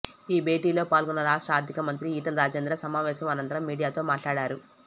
ఈ భేటీలో పాల్గొన్న రాష్ట్ర ఆర్థిక మంత్రి ఈటల రాజేందర్ సమావేశం అనంతరం మీడియాతో మాట్లాడారు